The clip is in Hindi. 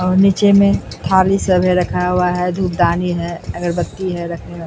और नीचे में थाली सब है रखा हुआ है धुपदानी है अगरबत्ती है रखने वाला।